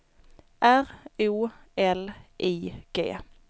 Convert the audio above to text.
R O L I G